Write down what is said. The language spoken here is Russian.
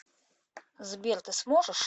сбер ты сможешь